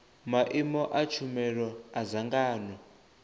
maimo a tshumelo a dzangano